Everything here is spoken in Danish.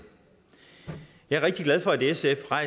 jeg er rigtig glad for at sf har